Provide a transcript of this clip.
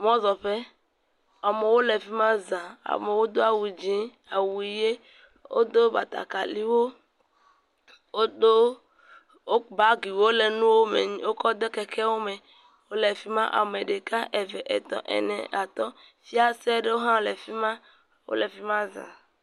Mɔzɔƒe. Amewo le fi ma za. Amewo do awu dzi, awu ʋi. wodo batakaliwo, wodo, wo bagiwo le nuwo me wokɔ de kekewo me. Le afi ma ame ɖeka, eve, etɔ̃, ene, atɔ̃. Fiase aɖewo hã le afi ma. Wole afi ma za.